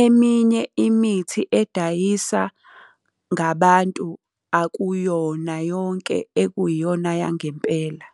Eminye imithi edayisa ngabantu akuyona yonke ekuyiyona yangempela.